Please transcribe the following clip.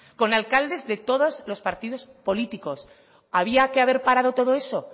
con alcaldes de todos los partidos políticos había que haber parado todo eso